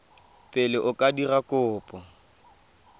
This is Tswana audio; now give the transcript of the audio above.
pele o ka dira kopo